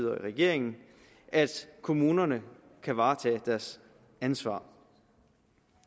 og regeringen at kommunerne kan varetage deres ansvar